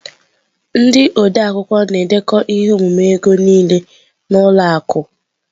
Ndị odeakwụkwọ na-edekọ ihe omume ego niile na ụlọ akụ.